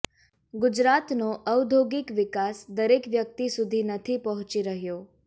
ગુજરાતનો ઔદ્યોગિક વિકાસ દરેક વ્યક્તિ સુધી નથી પહોંચી રહ્યો